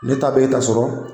Ne ta bɛ e ta sɔrɔ.